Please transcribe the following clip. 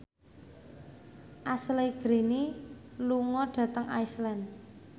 Ashley Greene lunga dhateng Iceland